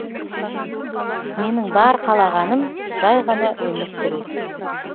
менің бар қалағаным жай ғана өмір сүру